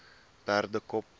perdekop